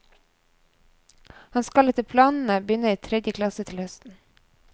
Han skal etter planene begynne i tredje klasse til høsten.